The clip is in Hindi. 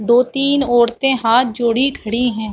दो- तीन ओरतें हाथ जोड़ी खड़ी हैं।